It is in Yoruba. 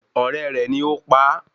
Ọ̀rẹ́ rẹ̀ ni ó pa á